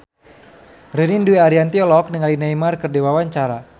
Ririn Dwi Ariyanti olohok ningali Neymar keur diwawancara